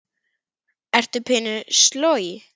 Ertu pínu sloj?